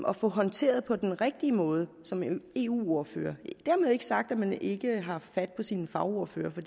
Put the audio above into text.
at få håndteret på den rigtige måde som eu eu ordfører men dermed ikke sagt at man ikke har haft fat på sine fagordførere for